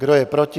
Kdo je proti?